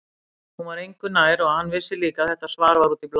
Hún var engu nær og hann vissi líka að þetta svar var út í bláinn.